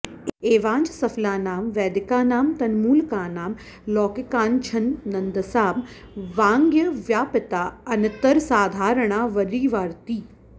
एवाञ्च सफलानां वैदिकानां तन्मूलकानां लौकिकानाञ्चच्छन्दसां वाङ्मयव्यापिता अनितरसाधारणा वरीवर्ति